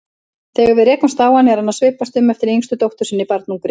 Þegar við rekumst á hann er hann að svipast eftir yngstu dóttur sinni, barnungri.